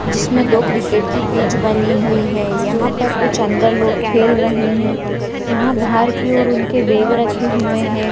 जिसमें दो क्रिकेट की पिच बनी हुई है। यहाँ पर कुछ अन्दर लोग खेल रहें हैं। यहाँ बाहर की और उनके बैग रखे हुए हैं।